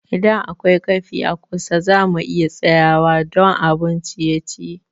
Idan akwai cafe a kusa, za mu iya tsayawa don abun ciye-ciye.